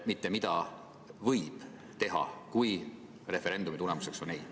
Mitte, et mida võib teha, kui referendumi tulemus on ei.